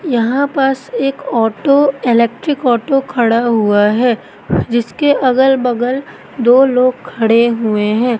यहां पास एक ऑटो इलेक्ट्रिक ऑटो खड़ा हुआ है जिसके अगल बगल दो लोग खड़े हुए हैं।